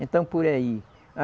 Então, por aí.